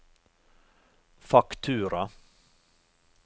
faktura